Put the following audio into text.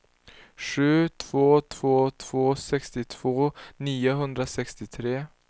sju två två två sextiotvå niohundrasextiotre